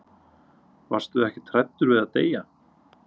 Varstu ekkert hræddur við að deyja?